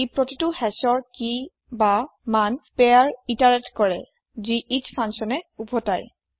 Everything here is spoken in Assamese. ই প্ৰতিটো hashৰ কিভেল্যু পেয়াৰ ইতাৰেত কৰে যি এচ ফাঙ্কচ্যনে উভতাই